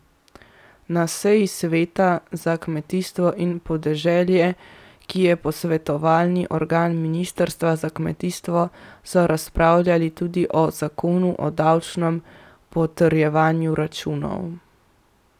Na seji sveta za kmetijstvo in podeželje, ki je posvetovalni organ ministrstva za kmetijstvo, so razpravljali tudi o zakonu o davčnem potrjevanju računov.